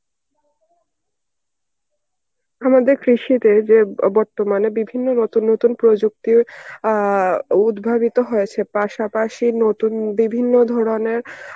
আমাদের কৃষিতে যে বর্তমানে বিভিন্ন নতুন নতুন প্রযুক্তি অ্যাঁ উদভাবিত হয়েছে পাশাপাশি নতুন বিভিন্ন ধরনের